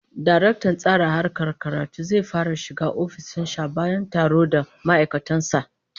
Daraktan Tsara Harkar Karatu zai yi fara shiga ofishin sa bayan taro da ma'aikatan sa